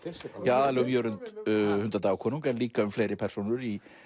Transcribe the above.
aðallega um Jörund hundadagakonung en líka um fleiri persónur í